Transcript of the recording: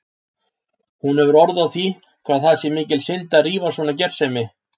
Hún hefur orð á því hvað það sé mikil synd að rífa svona gersemi.